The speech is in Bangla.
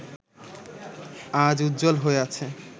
আজ উজ্জ্বল হয়ে আছে